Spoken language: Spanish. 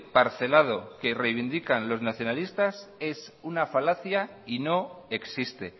parcelado que reivindica los nacionalistas es una falacia y no existe